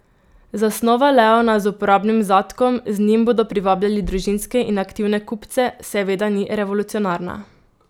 Zasnova leona z uporabnim zadkom, z njim bodo privabljali družinske in aktivne kupce, seveda ni revolucionarna.